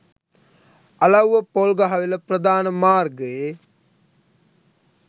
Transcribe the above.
අලව්ව පොල්ගහවෙල ප්‍රධාන මාර්ගයේ